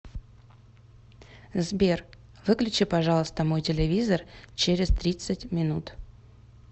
сбер выключи пожалуйста мой телевизор через тридцать минут